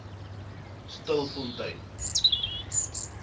stilfontein